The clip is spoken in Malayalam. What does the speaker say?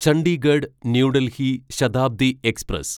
Chandigarh New Delhi Shatabdi express